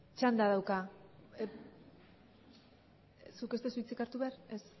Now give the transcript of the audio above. txanda dauka zuk ez duzu hitzik hartu behar ez